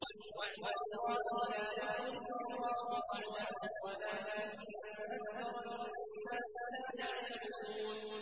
وَعْدَ اللَّهِ ۖ لَا يُخْلِفُ اللَّهُ وَعْدَهُ وَلَٰكِنَّ أَكْثَرَ النَّاسِ لَا يَعْلَمُونَ